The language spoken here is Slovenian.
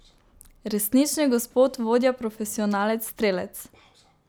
Resnični gospod, vodja, profesionalec, strelec!